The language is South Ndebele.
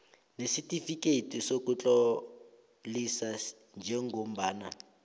nesitifikeyiti sokutlolisa njengombana